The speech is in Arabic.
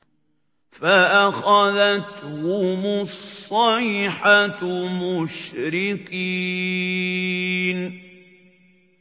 فَأَخَذَتْهُمُ الصَّيْحَةُ مُشْرِقِينَ